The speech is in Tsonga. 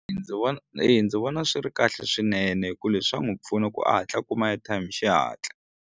Ndzi vona eya ndzi vona swi ri kahle swinene hikuva leswi swi ta n'wi pfuna ku a hatla a kuma airtime hi xihatla.